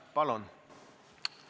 Palun!